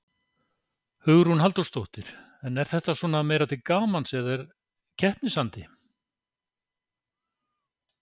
Hugrún Halldórsdóttir: En er þetta svona meira til gamans eða er keppnisandi?